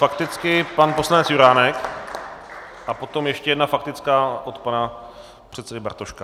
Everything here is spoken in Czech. Fakticky pan poslanec Juránek a potom ještě jedna faktická od pana předsedy Bartoška.